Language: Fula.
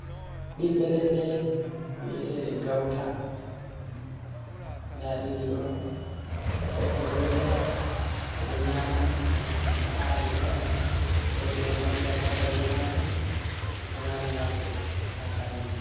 Bibbe leɗɗe wi'eteɗe gauta. Ɗa ɗiɗi ɗon be he’i gotel be ɗo nyama ɗum. Ɗum ɗo haɗi rok. Woɓɓe ɗo ngaɗira takai be majum. Ɗo mari nafu ha balli.